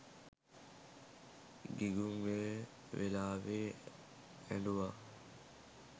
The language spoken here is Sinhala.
ගිගුම් ඒ වෙලාවෙ ඇඬුවා